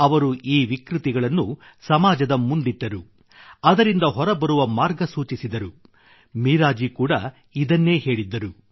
ಅವರು ಈ ವಿಕೃತಿಗಳನ್ನು ಸಮಾಜದ ಮುಂದಿಟ್ಟರು ಅದರಿಂದ ಹೊರಬರುವ ಮಾರ್ಗ ಸೂಚಿಸಿದರು ಮೀರಾಜಿ ಕೂಡಾ ಇದನ್ನೇ ಹೇಳಿದ್ದರು